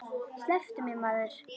Slepptu mér maður.